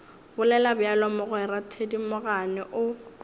bolela bjalo mogwera thedimogane o